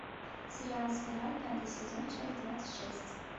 сериал спираль пятый сезон часть двадцать шесть